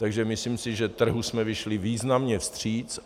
Takže si myslím, že trhu jsme vyšli významně vstříc.